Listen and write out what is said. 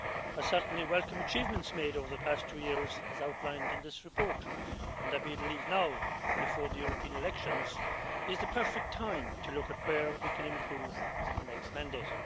I certainly welcome achievements made over the past two years as outlined in this report, and I believe now before the European elections is the perfect time to look at where we can improve into the next mandate.